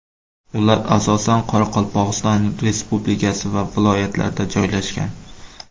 Ular asosan Qoraqalpog‘iston Respublikasi va viloyatlarda joylashgan.